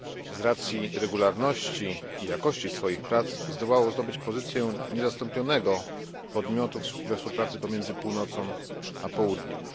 Z racji regularności i jakości swoich prac zdołało zdobyć pozycję niezastąpionego podmiotu we współpracy pomiędzy Północą a Południem.